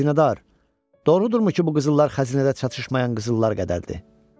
Xəzinədar, doğrudurmu ki, bu qızıllar xəzinədə çatışmayan qızıllar qədərdir?